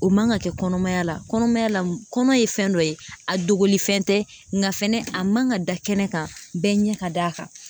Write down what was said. O man ka kɛ kɔnɔmaya la kɔnɔmaya la kɔnɔ ye fɛn dɔ ye a dogolifɛn tɛ nka fɛnɛ a man ka da kɛnɛ kan bɛɛ ɲɛ ka d'a kan